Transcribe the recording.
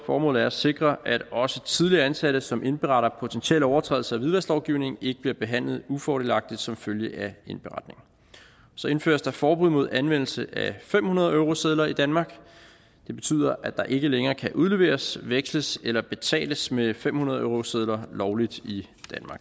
formålet er at sikre at også tidligere ansatte som indberetter potentielle overtrædelser af hvidvasklovgivningen ikke bliver behandlet ufordelagtigt som følge af indberetningen så indføres der forbud mod anvendelse af fem hundrede eurosedler i danmark det betyder at der ikke længere kan udleveres veksles eller betales med fem hundrede eurosedler lovligt i